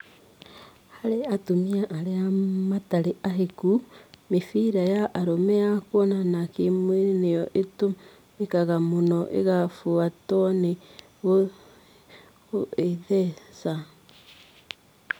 harĩ atumia aria matarĩ ahiku, mĩbira ya arũme ya kuonana kĩ-mwĩrĩ nĩyo ĩtũmĩkaga mũno ĩgabuatwo ni gũĩtheca